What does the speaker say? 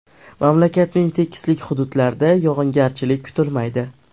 Mamlakatning tekislik hududlarda yog‘ingarchilik kutilmaydi.